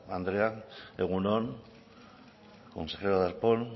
andrea egun on consejero darpón